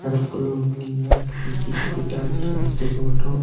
அடத்துக்குள்ள ஒரு மீன்லா இருக்கு திட்டு திட்டா வெச்சிருக்காங்க ஸ்டெப்புவட்டு .